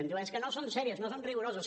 em diu és que no són serioses no són rigoroses